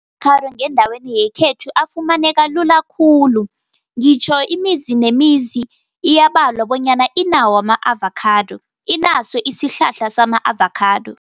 I-avakhado ngendaweni yekhethu afumaneka lula khulu, ngitjho imizi, nemizi iyabalwa bonyana inawo ama-avakhado, inaso isihlahla sama-avakhado.